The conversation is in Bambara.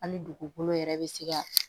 An ni dugukolo yɛrɛ bɛ se ka